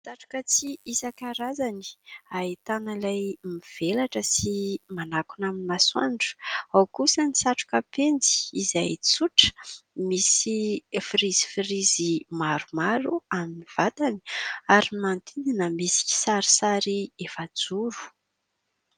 Satroka tsihy isan-karazany ahitana ilay mivelatra sy manakona amin'ny masoandro. Ao kosa ny satroka penjy izay tsotra, misy frizy frizy maromaro amin'ny vatany ary manodidina misy kisarisary efa-joro.